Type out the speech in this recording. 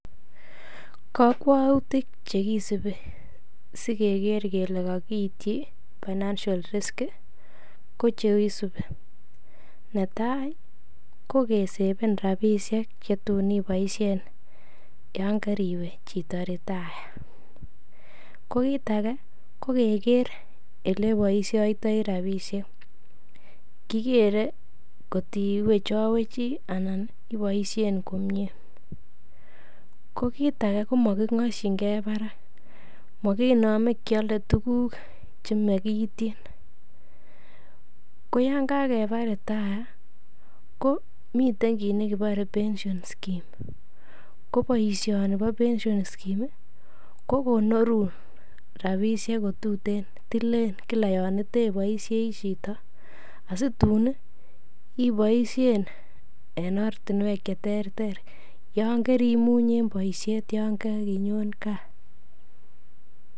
Kokwoutik chekisibi sikeker kelee kokityi financial risk ko cheisubi, netai ko keseven rabishek chetun iboishen yoon koriwe chito retire, ko kiit akee ko keker eleboishoitoi rabishek, kikere kotiwechowechi anan iiboishen komnye, ko kiit akee ko mokingoshinge barak, mokinome kiole tukuk chemokityin, ko yoon kakeba retire ko miten kiit nekebore pension schemes, ko boishoni bo pension scheme ko konorun rabishek kotuten tilen kila yoon teboishei chito asitun iboishen en ortinwek cheterter yoon korimuny en boishet yoon korinyon kaa.